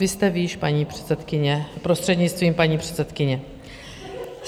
Vy jste výš, paní předsedkyně, prostřednictvím paní předsedkyně.